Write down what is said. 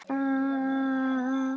Þannig stendur málið núna.